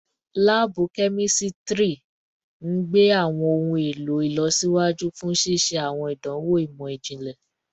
Laabu kemistri n gbe awọn ohun elo ilọsiwaju fun ṣiṣe awọn idanwo imọ-jinlẹ